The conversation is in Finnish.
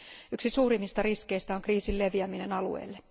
Yksi suurimmista riskeistä on kriisin leviäminen alueella.